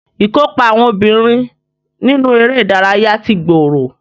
Ìkópa àwọn obìnrin nínú eré ìdárayá ti gbòòrò